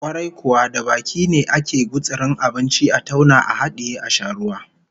Kwarai kuwa, da baki ne akan gutsuri abinci, a tauna a hadiye, a sha ruwa